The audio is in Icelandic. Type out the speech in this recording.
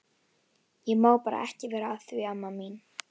Ég má bara ekki vera að því amma mín.